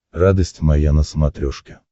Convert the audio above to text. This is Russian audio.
радость моя на смотрешке